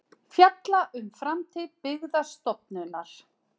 Fjalla um framtíð Byggðastofnunar